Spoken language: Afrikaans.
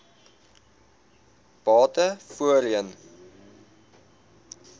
bate voorheen